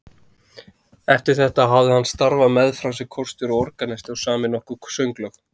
Eftir þetta hafði hann starfað meðfram sem kórstjóri og organisti og samið nokkur sönglög.